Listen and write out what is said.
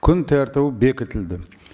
күн тәртібі бекітілді